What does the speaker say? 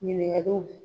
Ɲininkaliw